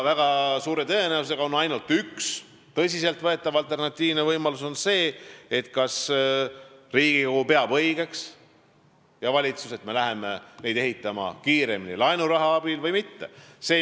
Väga suure tõenäosusega on ainult üks tõsiselt võetav alternatiivne võimalus: Riigikogul ja valitsusel tuleb otsustada, kas me hakkame neid ehitama laenuraha abil või mitte.